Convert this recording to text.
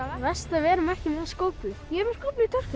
verst að við erum ekki með skóflu ég er með skóflu í töskunni